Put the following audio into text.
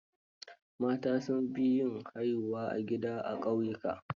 Mata sun fi yin haihuwa a gida, a ƙauyuka.